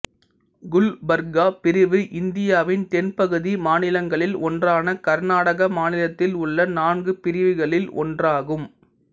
குல்பர்கா பிரிவு இந்தியாவின் தென்பகுதி மாநிலங்களில் ஒன்றான கர்நாடக மாநிலத்தில் உள்ள நான்கு பிரிவுகளில் ஒன்றாகும்